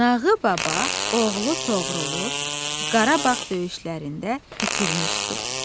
Nağı baba oğlu Toğrulu Qarabağ döyüşlərində itirmişdi.